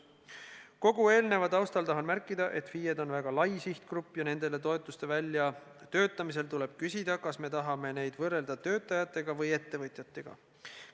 Kogu eelneva taustal tahan märkida, et FIE-d on väga lai sihtgrupp ja nendele toetuste väljatöötamisel tuleb küsida, kas me tahame neid võrrelda töötajatega või ettevõtjatega.